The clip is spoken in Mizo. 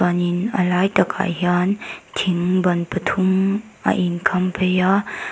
chuanin a lai takah hian thing ban pathum a in kham phei a.